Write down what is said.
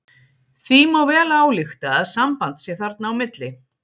Því má vel álykta að samband sé þarna á milli.